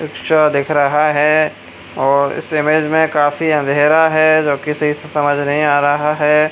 Rickshaw दिख रहा है। और इस इमेज में काफी अँधेरा है जो किसी से समझ नही आ रहा है।